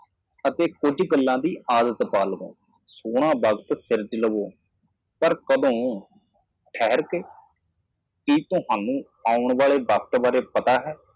ਜੇ ਤੁਸੀਂ ਬਿਨਾਂ ਪੜ੍ਹੇ ਕਿਤੇ ਹੋ ਤਾਂ ਇਸ ਦੁਨੀਆ ਨੂੰ ਨਾ ਛੱਡੋ ਇਹ ਗੱਲ ਸਿੱਧੀ ਮੇਰੇ ਦਿਮਾਗ ਵਿਚ ਆ ਗਈ ਮਾੜੀ ਟਿੱਪਣੀ ਮਹਿਸੂਸ ਕੀਤੀ ਮੈਂ ਦੁਰਵਿਵਹਾਰ ਕੀਤਾ ਮਾਫ਼ ਕਰਨਾ